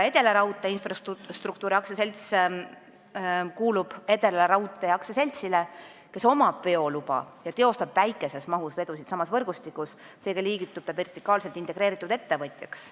Edelaraudtee Infrastruktuuri AS kuulub Edelaraudtee AS-ile, kellel on veoluba ja kes teostab väikeses mahus vedusid samas võrgustikus, seega liigitub ta vertikaalselt integreeritud ettevõtjaks.